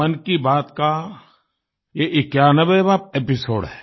मन की बात का ये 91वाँ एपिसोड है